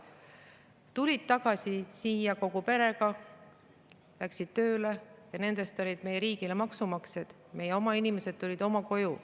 Nad tulid tagasi siia kogu perega, läksid tööle ja nendest tulid meie riigile maksumaksjad, meie oma inimesed tulid oma koju.